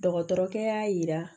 Dɔgɔtɔrɔkɛ y'a yira